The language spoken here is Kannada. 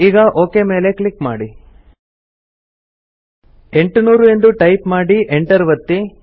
ಈಗ ಒಕ್ ಮೇಲೆ ಕ್ಲಿಕ್ ಮಾಡಿ 800 ಎಂದು ಟೈಪ್ ಮಾಡಿ ಎಂಟರ್ ಒತ್ತಿ